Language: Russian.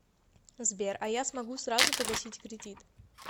сбер а я смогу сразу погасить кредит